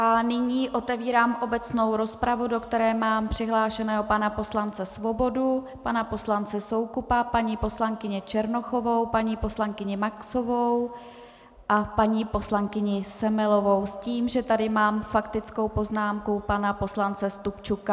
A nyní otevírám obecnou rozpravu, do které mám přihlášeného pana poslance Svobodu, pana poslance Soukupa, paní poslankyni Černochovou, paní poslankyni Maxovou a paní poslankyni Semelovou - s tím, že tady mám faktickou poznámku pana poslance Stupčuka.